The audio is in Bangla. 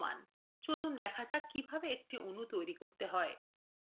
চলুন দেখা যাক কিভাবে একটি অণু তৈরি করতে হয়